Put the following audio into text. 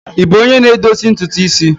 Ị bụ onye na-edozi ntutu isi?